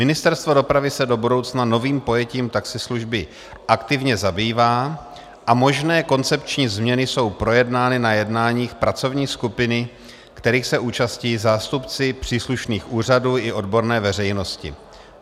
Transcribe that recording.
Ministerstvo dopravy se do budoucna novým pojetím taxislužby aktivně zabývá a možné koncepční změny jsou projednány na jednáních pracovní skupiny, kterých se účastní zástupci příslušných úřadů i odborné veřejnosti.